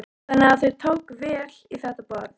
Þannig að þau tóku vel í þetta boð?